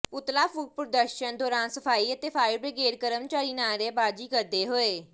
ਪੁਤਲਾ ਫੂਕ ਪ੍ਰਦਰਸ਼ਨ ਦੌਰਾਨ ਸਫ਼ਾਈ ਅਤੇ ਫਾਇਰ ਬ੍ਰਿਗੇਡ ਕਰਮਚਾਰੀ ਨਾਅਰੇਬਾਜ਼ੀ ਕਰਦੇ ਹੋਏ